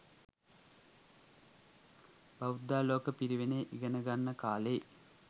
බෞද්ධාලෝක පිරිවෙනේ ඉගෙන ගන්න කාලෙයි